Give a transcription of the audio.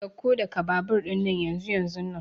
Sauko daga babur dinnan yanzunnan!